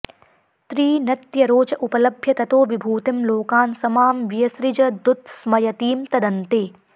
त्रीनत्यरोच उपलभ्य ततो विभूतिं लोकान् स मां व्यसृजदुत्स्मयतीं तदन्ते